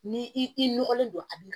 Ni i nɔgɔlen don a bi